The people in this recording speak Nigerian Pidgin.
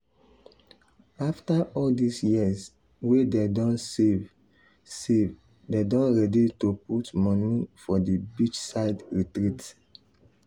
after all this years wey dem don save save dem don ready to put money for the beachside retreat